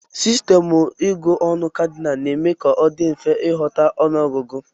Sistemụ ịgụ ọnụ Kadịnal na-eme ka ọ dị mfe ịghọta ọnụọgụgụ.